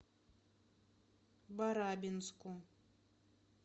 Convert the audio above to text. барабинску